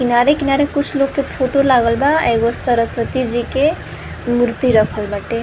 किनारे किनारे कुछ लोग के फोटो लागल बा। एगो सरस्वती जी के मूर्ति रखल बाटे।